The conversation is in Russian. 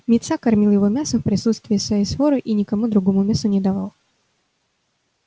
митса кормил его мясом в присутствии своей своры и никому другому мяса не давал